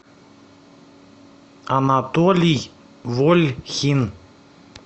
анатолий вольхин